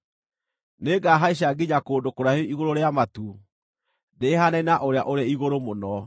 Nĩngahaica nginya kũndũ kũraihu igũrũ rĩa matu, ndĩĩhaananie na Ũrĩa-ũrĩ-Igũrũ-Mũno.”